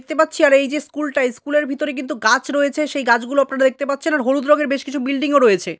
দেখতে পারছি আর এই যে স্কুলটা স্কুলের ভিতরে কিন্তু গাছ রয়েছে। সেই গাছগুলো আপনারা দেখতে পারছেন আর হলুদ রঙের বেশ কিছু বিল্ডিং -ও রয়েছে।